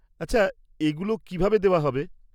-আচ্ছা, এগুলো কীভাবে দেওয়া হবে?